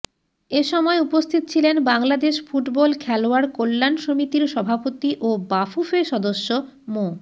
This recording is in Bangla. এ সময় উপস্থিত ছিলেন বাংলাদেশ ফুটবল খেলোয়াড় কল্যাণ সমিতির সভাপতি ও বাফুফে সদস্য মো